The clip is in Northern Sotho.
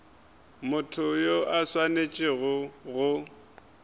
motho yo a swanetšego go